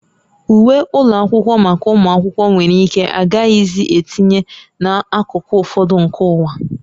Uwe ụlọ akwụkwọ maka ụmụ akwụkwọ nwere ike agaghịzi etinye n'akụkụ ụfọdụ nke ụwa